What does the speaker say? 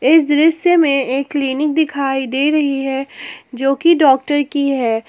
इस दृश्य में एक क्लीनिक दिखाई दे रही है जोकि डॉक्टर की है।